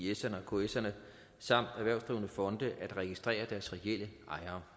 er iserne og kserne samt erhvervsdrivende fonde at registrere deres reelle ejere